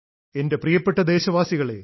എൻറെ പ്രിയപ്പെട്ട ദേശവാസികളേ